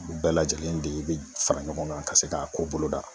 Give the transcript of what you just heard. U bɛɛ lajɛlen de be fara ɲɔgɔn kan ka se ka ko boloda.